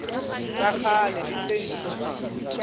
tsa kgale le tse ntjha